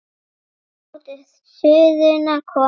Látið suðuna koma upp.